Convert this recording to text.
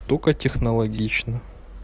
только технологично